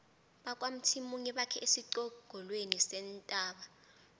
bakwamthimunye bakhe esiqongolweni sentaba